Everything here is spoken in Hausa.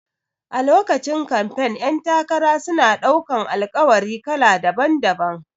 A lokacin kamfen ƴan takara suna ɗaukan Alƙawari kala daban-daban